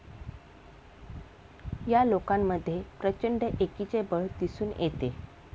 या लोकांमध्ये प्रचंड एकीचे बळ दिसून येते.